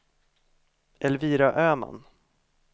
Elvira Öman